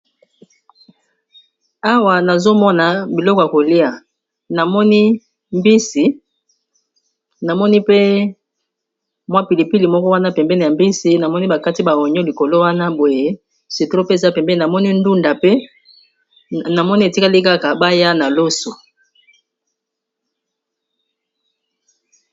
Awa nazomona biloko ya kolia, namoni mbisi, namoni pe mwa pilipili moko wana pembene ya mbisi, namoni bakati ba ognon likolo wana boye citron ndunda pe namoni etikali kaka baya na loso.